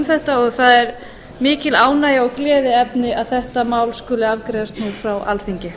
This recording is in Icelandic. þetta og það er mikil ánægja og gleðiefni að þetta mál skuli afgreiðast nú frá alþingi